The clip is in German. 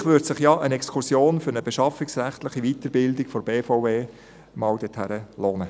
Vielleicht würde sich ja eine Exkursion dorthin als beschaffungsrechtliche Weiterbildung der BVE mal lohnen.